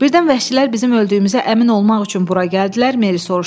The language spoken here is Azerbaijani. Birdən vəhşilər bizim öldüyümüzə əmin olmaq üçün bura gəldilər?